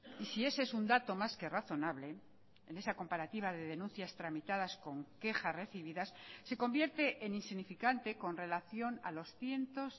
y si ese es un dato más que razonable en esa comparativa de denuncias tramitadas con queja recibidas se convierte en insignificante con relación a los cientos